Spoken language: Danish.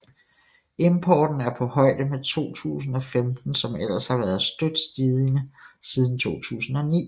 Importen er på højde med 2015 som ellers har været støt stigende siden 2009